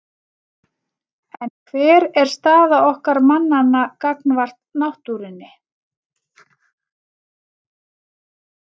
En hver er staða okkar mannanna gagnvart náttúrunni?